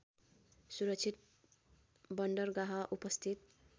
सुरक्षित बन्दरगाह उपस्थित